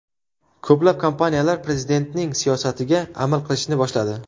Ko‘plab kompaniyalar Prezidentning siyosatiga amal qilishni boshladi.